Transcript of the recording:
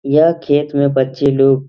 यह खेत में बच्चे लोग --